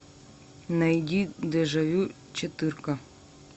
найди дежавю четырка